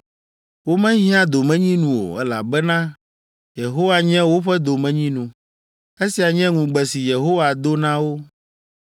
Womehiã domenyinu o, elabena Yehowa nye woƒe domenyinu! Esia nye ŋugbe si Yehowa do na wo!